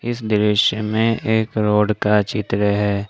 इस दृश्य में एक रोड का चित्र है।